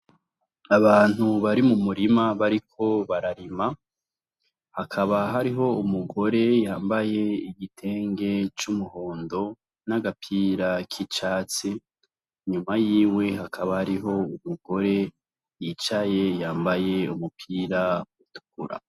Abantu bari mu murima bariko bararima hakaba hariho umugore yambaye igitenge c'umuhondo n'agapira k'icatsi inyuma yiwe hakaba hariho umugore yicaye yambaye umupira utukura.